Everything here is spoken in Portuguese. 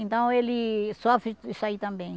Então ele sofre isso aí também.